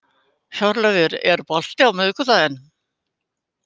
Hjörleifur, er bolti á miðvikudaginn?